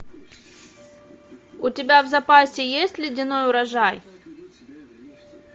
у тебя в запасе есть ледяной урожай